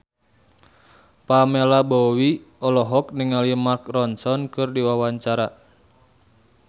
Pamela Bowie olohok ningali Mark Ronson keur diwawancara